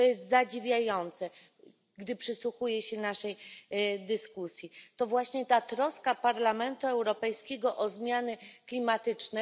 Co jest zadziwiające, gdy przysłuchuję się naszej dyskusji, to właśnie ta troska Parlamentu Europejskiego o zmiany klimatyczne.